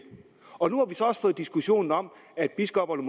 nu diskussionen om at biskopperne